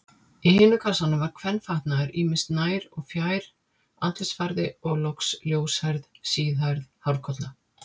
Í hinum kassanum var kvenfatnaður ýmis, nær- og fjær-, andlitsfarði og loks ljóshærð, síðhærð hárkolla.